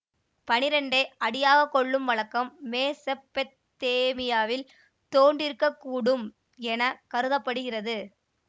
பனிரெண்டை அடியாகக் கொள்ளும் வழக்கம் மெசொப்பொத்தேமியாவில் தோன்றியிருக்கக்கூடும் என கருத படுகிறது